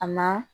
A ma